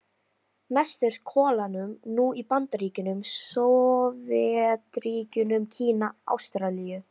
Mest er kolanám nú í Bandaríkjunum, Sovétríkjunum, Kína, Ástralíu